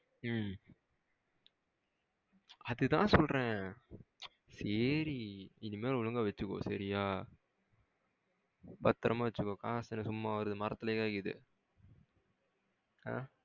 உம் அதுதான் சொல்றேன் சேரி. இனிமேல் ஒழுங்கா வச்சிக்கோ சரியா பத்திரமா வச்சிக்கோ காசு என்ன சும்மாவா வருது? மரத்துளையா காக்கிது? அஹ